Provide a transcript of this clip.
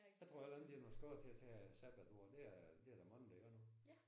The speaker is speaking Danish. Så tror jeg heller ikke det er noget skod til at tage sabbatår det er det er der mange der gør nu